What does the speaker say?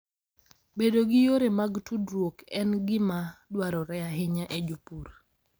Bedo gi yore mag tudruok en gima dwarore ahinya ne jopur.